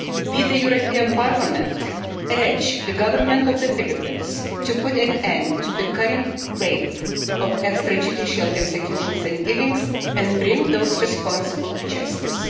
We, the European Parliament, urge the government of the Philippines to put an end to the current wave of extrajudicial executions and killings and bring those responsible to justice.